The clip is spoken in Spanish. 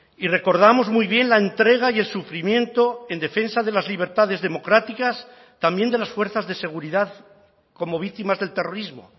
y recordamos muy bien la entrega y el sufrimiento en defensa de las libertades democráticas también de las fuerzas de seguridad como víctimas del terrorismo